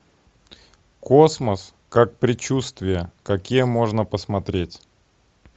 космос как предчувствие какие можно посмотреть